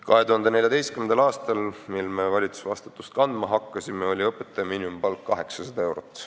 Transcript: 2014. aastal, kui me valitsemisvastutust kandma hakkasime, oli õpetaja miinimumpalk 800 eurot.